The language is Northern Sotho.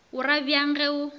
o ra bjang ge o